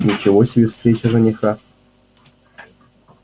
ничего себе встреча жениха